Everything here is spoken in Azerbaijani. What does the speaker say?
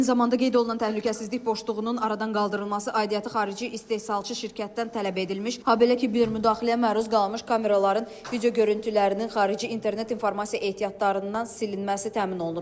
Eyni zamanda qeyd olunan təhlükəsizlik boşluğunun aradan qaldırılması aidiyyatı xarici istehsalçı şirkətdən tələb edilmiş, habelə ki, bir müdaxiləyə məruz qalmış kameraların video görüntülərinin xarici internet informasiya ehtiyatlarından silinməsi təmin olunub.